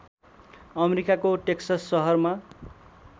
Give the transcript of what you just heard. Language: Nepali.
अमेरिकाको टेक्सस सहरमा